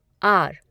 are